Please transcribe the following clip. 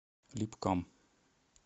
липкам